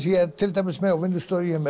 ég er til dæmis með á vinnustofunni